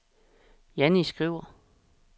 Jannie Skriver